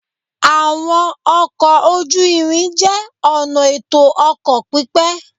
Àwọn ọkọ̀ ojú-irin jẹ́ ọ̀nà ètò ọkọ̀ pípé